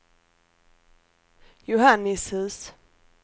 Johannishus